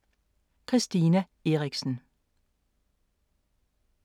Christina Eriksen